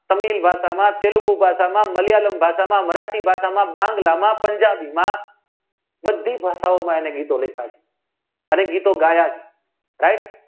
તમિલ ભાષામાં તેલુગુ ભાષામાં માલીયાલમ ભાષામાં મરાઠી ભાષામાં બાંગ્લા માં પંજાબ માં બધી ભાષાઓમાં એમને ગીતો લખ્યા છે અને ગીતો ગયા છે ભાઈ